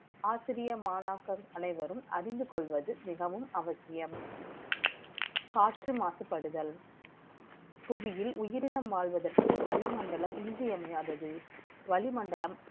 ஆசிரியர் மாணவர்கள் அனைவரும் அறிந்து கொள்வது மிகவும் அவசியம் காற்று மாசுபடுதல் புவியியல் உயிரினம் வாழ்வதற்கு வளிமண்டலம் இன்றியமையாதது